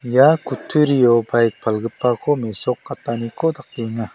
ia kutturio baik palgipako mesokataniko dakenga.